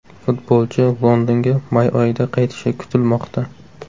Futbolchi Londonga may oyida qaytishi kutilmoqda.